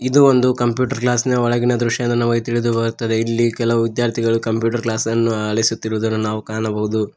ಇದು ಒಂದು ಕಂಪ್ಯೂಟೆರ್ ಕ್ಲಾಸಿನ ಒಳಗಿನ ದೃಶ್ಯ ಎಂದು ನಮಗೆ ತಿಳಿದು ಬರುತ್ತದೆ ಇಲ್ಲಿ ಕೆಲವು ವಿದ್ಯಾರ್ಥಿಗಳು ಕಂಪ್ಯೂಟರ್ ಕ್ಲಾಸ್ ಅನ್ನು ಆಲಿಸುತ್ತಿರುವುದನ್ನು ನಾವು ಕಾಣಬಹುದು.